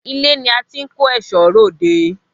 Ilé ni a ti ń kó ẹ̀ṣọ́ r'òde